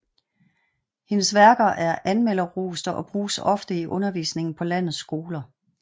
Hendes værker er anmelderroste og bruges ofte i undervisningen på landets skoler